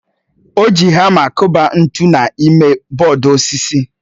O ji hama kụba ntu n'ime bọọdụ osisi